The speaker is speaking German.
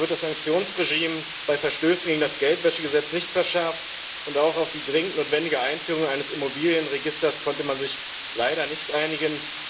So wird das Sanktionsregime bei Verstößen gegen das Geldwäschegesetz nicht verschärft, und auch auf die dringend notwendige Einführung eines Immobilienregisters konnte man sich leider nicht einigen.